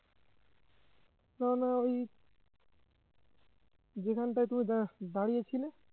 কেননা ওই যেখানটায় তুমি দাঁ~ দাঁড়িয়ে ছিলে